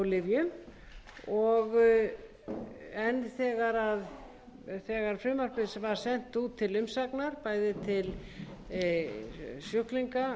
í smásölu á lyfjum en þegar frumvarpið var sent út til umsagnar bæði til sjúklingahópa